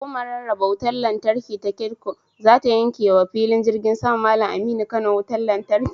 Hukumar rarraba wutar lantarki ta KEDCO zata yanke wa filin jirgin saman Mallam Aminu Kano wutar lantarki.